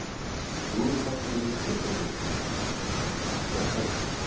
Slúðurpakkinn er með styttra móti í dag en við skulum kíkja á það helsta.